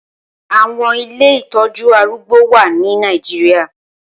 Awọn ilé itọjù àrùgbó wà ni Nàijiriá